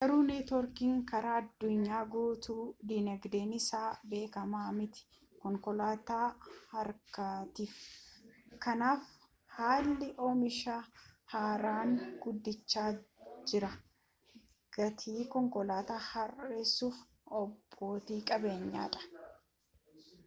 garuu neetworkiin karaa addunyaa guutuu diinagdeen isaa beekama mitii konkolaattota harkaatiif kanaaf haalli oomishaa haaraan guddacha jiraa gatii konkolaata hir'isuuf abbooti qabeenyadhan